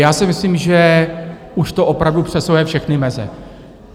Já si myslím, že už to opravdu přesahuje všechny meze.